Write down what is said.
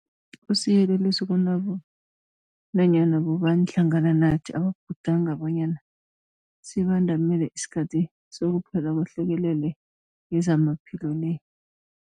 Kusiyeleliso kunanyana bobani hlangana nathi ababhudanga bonyana sibandamele isikhathi sokuphela kwehlekelele yezamaphilo le.